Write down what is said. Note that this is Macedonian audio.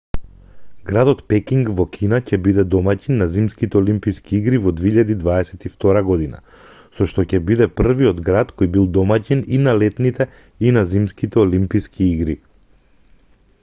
градот пекинг во кина ќе биде домаќин на зимските олимписки игри во 2022 година со што ќе биде првиот град кој бил домаќин и на летните и на зимските олимписки игри